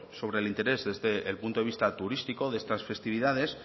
sobre el interés del punto de vista turístico de estas festividades